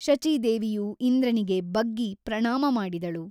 ಶಚೀದೇವಿಯು ಇಂದ್ರನಿಗೆ ಬಗ್ಗಿ ಪ್ರಣಾಮ ಮಾಡಿದಳು.